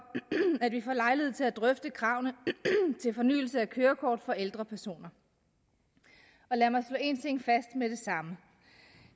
at vi får lejlighed til at drøfte kravene til fornyelse af kørekort for ældre personer lad mig slå én ting fast med det samme